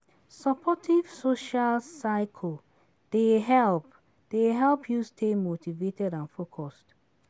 Supportive social circle dey help dey help you stay motivated and focused.